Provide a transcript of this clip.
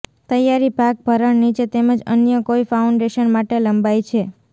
તૈયારી ભાગ ભરણ નીચે તેમજ અન્ય કોઇ ફાઉન્ડેશન માટે લંબાય છે